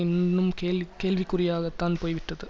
இன்னும் கேள்வி கேள்விக்குரியதாகத்தான் போய்விட்டது